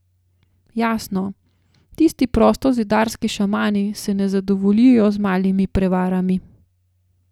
Jasno, tisti prostozidarski šamani se ne zadovoljijo z malimi prevarami.